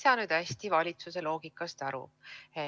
Ma ei saa valitsuse loogikast hästi aru.